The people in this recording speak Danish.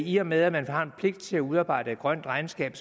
i og med at man har en pligt til at udarbejde et grønt regnskab